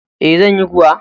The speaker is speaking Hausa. E, zan yi kuwa.